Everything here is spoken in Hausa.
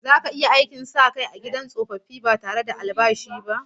Zaka iya iya yin aikin sa kai a gidan tsofaffi ba tare da albashi ba?